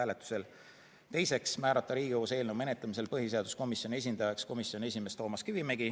Teiseks otsustati määrata Riigikogus eelnõu menetlemisel põhiseaduskomisjoni esindajaks komisjoni esimees Toomas Kivimägi.